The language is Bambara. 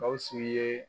Gawusu ye